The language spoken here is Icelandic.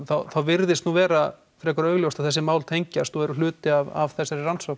virðist vera frekar augljóst að þessi mál tengjast og eru hluti af þessari rannsókn